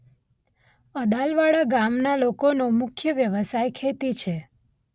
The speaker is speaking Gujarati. અદાલવાડા ગામના લોકોનો મુખ્ય વ્યવસાય ખેતી છે.